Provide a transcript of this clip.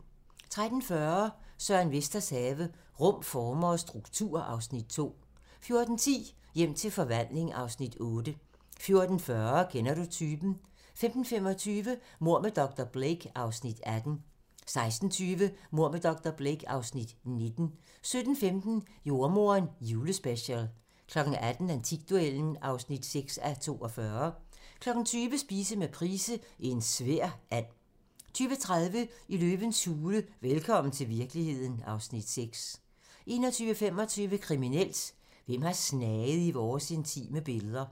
13:40: Søren Vesters have - Rum, former og struktur (Afs. 2) 14:10: Hjem til forvandling (Afs. 8) 14:40: Kender du typen? 15:25: Mord med dr. Blake (Afs. 18) 16:20: Mord med dr. Blake (Afs. 19) 17:15: Jordemoderen: Julespecial 18:00: Antikduellen (6:42) 20:00: Spise med Price - En svær and 20:30: Løvens hule – velkommen til virkeligheden (Afs. 6) 21:25: Kriminelt: Hvem har snaget i vores intime billeder?